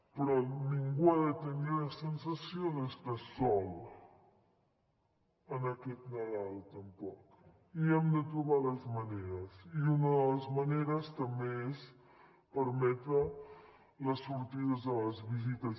però ningú ha de tenir la sensació d’estar sol aquest nadal tampoc i hem de trobar les maneres i unes de les maneres també és permetre les sortides i les visites